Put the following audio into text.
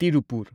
Tirupur